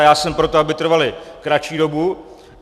A já jsem pro to, aby trvaly kratší dobu.